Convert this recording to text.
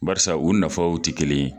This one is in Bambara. Barisa u nafaw ti kelen ye.